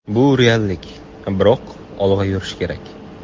Bu reallik, biroq olg‘a yurish kerak.